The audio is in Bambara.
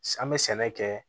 An bɛ sɛnɛ kɛ